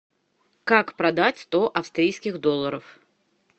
как продать сто австрийских долларов